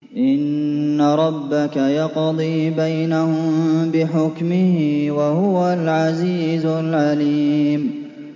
إِنَّ رَبَّكَ يَقْضِي بَيْنَهُم بِحُكْمِهِ ۚ وَهُوَ الْعَزِيزُ الْعَلِيمُ